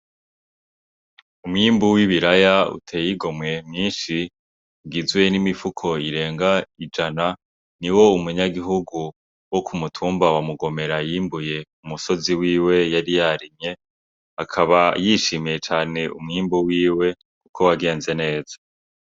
Umwimbu w'ibiraya utey'igomwe mwishi ugizwe n'imifuko irenga ijana ,niwo umunyagihugu wo ku mutumba wa Mugomera yimbuye ku musozi wiwe yari yarimye ,akaba yishimiye cane umwimbu wiwe ko wagenze neza.